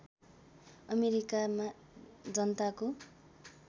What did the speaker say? अमेरिकामा जनताको